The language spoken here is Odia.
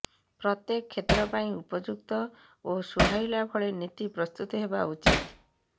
ପ୍ରତ୍ୟେକ କ୍ଷେତ୍ର ପାଇଁ ଉପଯୁକ୍ତ ଓ ସୁହାଇଲା ଭଳି ନୀତି ପ୍ରସ୍ତୁତ ହେବା ଉଚିତ